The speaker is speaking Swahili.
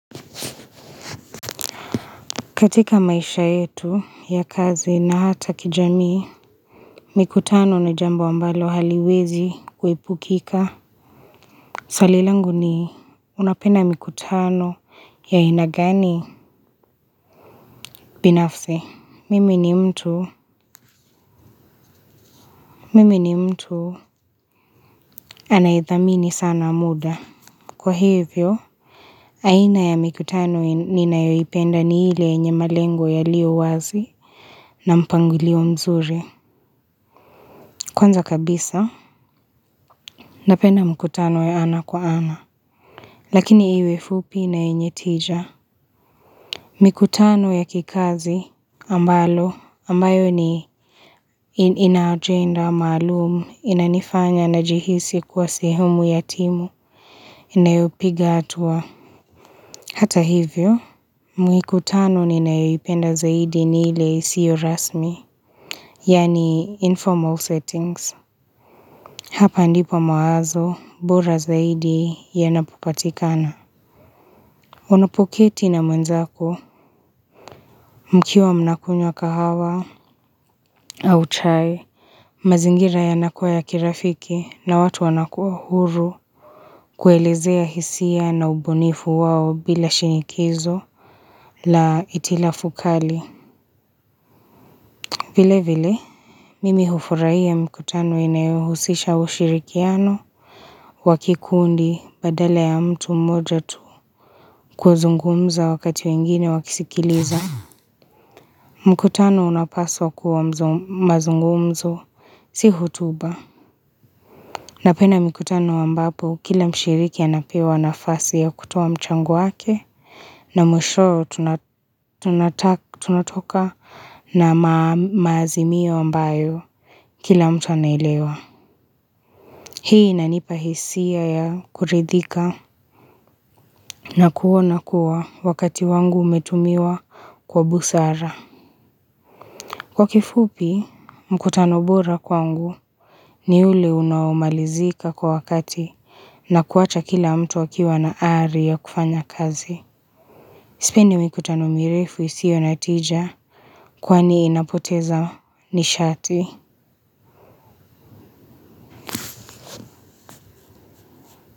Katika maisha yetu ya kazi na hata kijami, mikutano na jambo ambalo haliwezi kuepukika. Sali langu ni unapena mikutano ya ainagani binafsi. Mimi ni mtu. Mimi ni mtu anaithamini sana muda. Kwa hivyo, aina ya mikutano ni nayoipenda ni ile yenye malengo yalio wazi na mpangulio mzuri. Kwanza kabisa, napenda mkutano ya ana kwa ana. Lakini iwe fupi na inyetija. Mkutano ya kikazi ambalo, ambayo ni inaajenda malumu, inanifanya na jihisi kuwa sehumu yatimu, inayopiga atua. Hata hivyo, mikutano ni naipenda zaidi ni ile siyo rasmi, yani informal settings. Hapa ndipo maazo, bora zaidi ya napupatikana. Unapoketi na mwenzako, mkiwa mnakunywa kahawa, au chai, mazingira yanakua ya kirafiki na watu wanakuwa huru, kuelezea hisia na ubonifu wao bila shinikizo la itila fukali. Vile vile, mimi hufurai ya mkutano inayohusisha ushirikiano wakikundi badale ya mtu mmoja tu kuzungumza wakati wengine wakisikiliza. Mkutano unapaswa kuwa mazungumzo, si hutuba. Na penda mkutano ambapo, kila mshiriki anapewa na fasi ya kutowa mchango wake, na mwisho tunatoka na maazimio ambayo kila mtu anailiwa. Hii inanipahisia ya kuridhika na kuona kuwa wakati wangu umetumiwa kwa busara. Kwa kifupi mkotanobora kwangu ni ule unaumalizika kwa wakati na kuata kila mtu wakiwa na aari ya kufanya kazi. Spendi mkotanomirefu isio natija kwani inapoteza nishati.